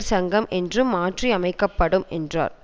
சங்கம் என்று மாற்றி அமைக்க படும் என்றார்